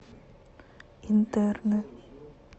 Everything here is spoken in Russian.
интерны